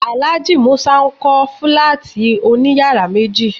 Alhaji musa ń kọ Fílátì òní yàrá méji